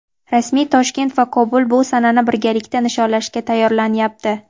rasmiy Toshkent va Kobul bu sanani birgalikda nishonlashga tayyorlanyapti.